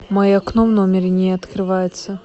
мое окно в номере не открывается